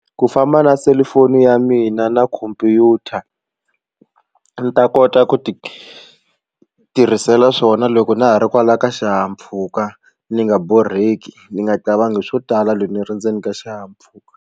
Ku famba na selufoni ya mina na khompyuta ni ta kota ku ti tirhisela swona loko na ha ri kwalaya ka xihahampfhuka ndzi nga borheki ni nga swo tala loyi ndzi ri ndzeni ka xihahampfhuka.